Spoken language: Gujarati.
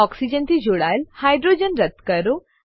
ઓક્સિજન થી જોડાયેલ હાઇડ્રોજન રદ્દ કરો